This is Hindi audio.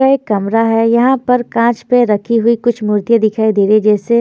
यह एक कमरा है। यहां पर कांच पे रखी हो कुछ मूर्तियां दिखाई दे रही है जैसे--